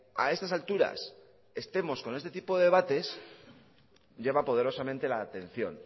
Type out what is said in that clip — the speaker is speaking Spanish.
a estas alturas estemos con este tipo de debates llama poderosamente la atención